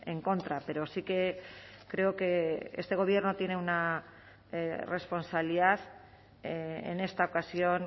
en contra pero sí que creo que este gobierno tiene una responsabilidad en esta ocasión